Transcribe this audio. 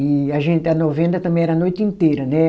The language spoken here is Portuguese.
E a gente, a novena também era a noite inteira, né?